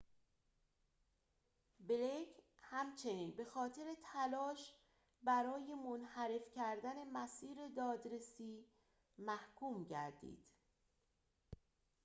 بلیک همچنین بخاطر تلاش برای منحرف کردن مسیر دادرسی محکوم گردید